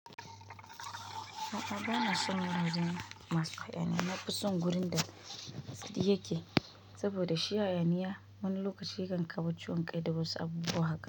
A'a ba na son wurin masu hayaniya mafi tsawon gurin da. Yake saboda shi hayaniya wani lokaci yakan kama ciwon kai da wasu abubuwa haka.